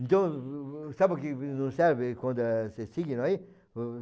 Então, sabe o que não serve quando é se signo aí?